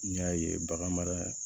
N y'a ye bagan mara